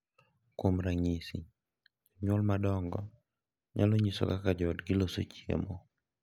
Kuom ranyisi, jonyuol madongo nyalo nyiso kaka joodgi loso chiemo,